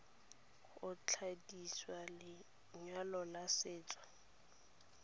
go kwadisa lenyalo la setso